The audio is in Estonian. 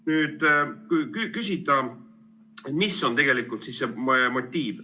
Nüüd, kui küsida, mis on tegelikult see motiiv.